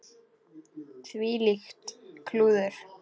Þvílíkt klúður.